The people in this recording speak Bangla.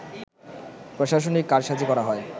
প্রশাসনিক কারসাজি করা হয়